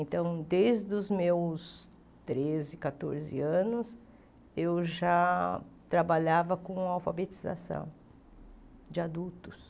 Então, desde os meus treze, catorze anos, eu já trabalhava com alfabetização de adultos.